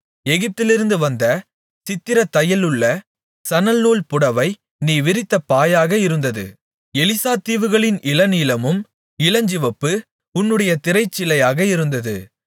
எகிப்திலிருந்து வந்த சித்திரத்தையலுள்ள சணல்நூல் புடவை நீ விரித்த பாயாக இருந்தது எலீசா தீவுகளின் இளநீலமும் இளஞ்சிவப்பு உன்னுடைய திரைச்சீலையாக இருந்தது